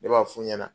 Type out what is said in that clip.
Ne b'a f'u ɲɛna